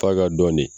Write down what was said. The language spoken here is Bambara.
F'a ka dɔn de